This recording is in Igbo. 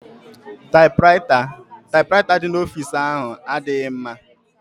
Taịpụraịta dị n'ọfici ahụ adịghịzị mma.